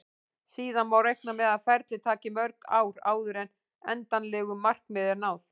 Síðan má reikna með að ferlið taki mörg ár áður en endanlegu markmiði er náð.